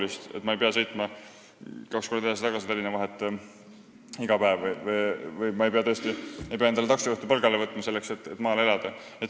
Ma tahaks, et ma ei peaks iga päev sõitma kaks korda edasi-tagasi Tallinna vahet või ei peaks võtma palgale taksojuhti, selleks et maal elada.